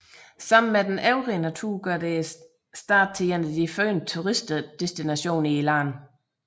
Sammen med den øvrige natur gør det staten til en af de førende turistdestinationer i landet